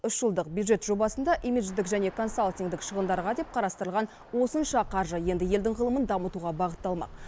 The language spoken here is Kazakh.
үш жылдық бюджет жобасында имидждік және консалтингтік шығындарға деп қарастырылған осынша қаржы енді елдің ғылымын дамытуға бағытталмақ